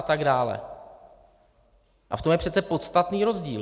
A v tom je přece podstatný rozdíl.